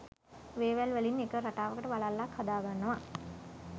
වේවැල් වලින් එක රටාවකට වලල්ලක් හදාගන්නව.